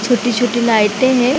छोटी-छोटी लाइटे है।